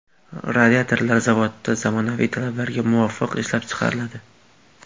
Radiatorlar zavodda zamonaviy talablarga muvofiq ishlab chiqariladi.